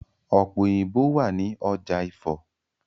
Ọ̀pẹ̀ òyìnbo wà ní ọjà Ifo.